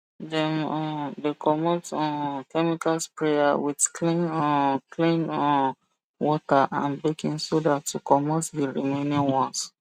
dem um dey comot um chemical sprayer with clean um clean um water and baking soda to comot the remaining ones